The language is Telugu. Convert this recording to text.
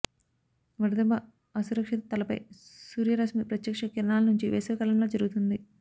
వడదెబ్బ అసురక్షిత తలపై సూర్యరశ్మి ప్రత్యక్ష కిరణాల నుంచి వేసవి కాలంలో జరుగుతుంది